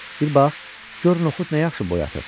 Bir bax, gör noxud nə yaxşı boy atır.